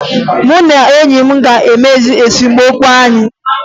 Mụ na enyi m ga-ekpezi esemokwu anyị